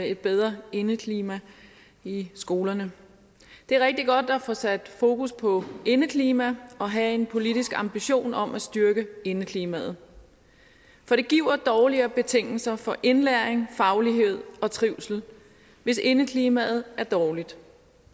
et bedre indeklima i skolerne det er rigtig godt at få sat fokus på indeklima og have en politisk ambition om at styrke indeklimaet for det giver dårligere betingelser for indlæring faglighed og trivsel hvis indeklimaet er dårligt